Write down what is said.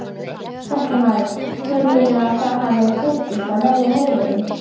Fréttamaður: Telurðu að það hafi tekist, að verja heiðurinn?